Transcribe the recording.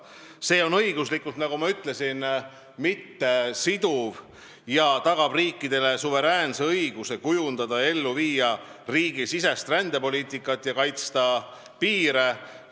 See raamistik on õiguslikult, nagu ma ütlesin, mittesiduv ja tagab riikidele suveräänse õiguse kavandada ja ellu viia riigisisest rändepoliitikat ja kaitsta oma piire.